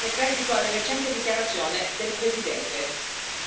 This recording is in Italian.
Sarebbe così rispettato il normale processo elettorale.